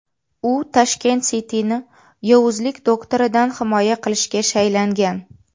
U Tashkent City’ni Yovuzlik Doktoridan himoya qilishga shaylangan!